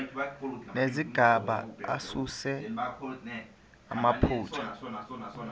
nezigaba asuse amaphutha